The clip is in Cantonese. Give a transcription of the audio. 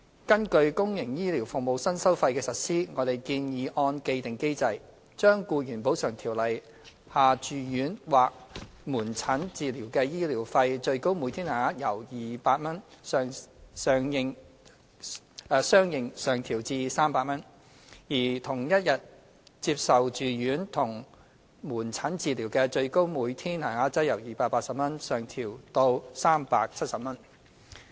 根據公營醫療服務新收費的實施，我們建議按既定機制，將《僱員補償條例》下住院或門診治療的醫療費最高每天限額由200元相應上調至300元，而同一天接受住院及門診治療的最高每天限額則由280元相應上調至370元。